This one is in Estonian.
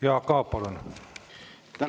Jaak Aab, palun!